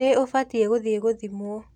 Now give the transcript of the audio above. Nĩ ũbatiĩ gũthiĩ gũthimwo.